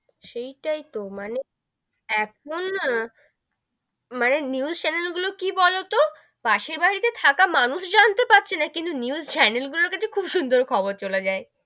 সেইটাই তো মানে, এখন না মানে news channel গুলো কি বোলো তো, পাশের বাড়ি তে থাকা মানুষ জানতে পারছে না কিন্তু news channel গুলোর কাছে খুব সুন্দর খবর চলে যাই,